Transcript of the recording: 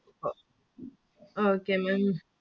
ഇപ്പൊ okay Maám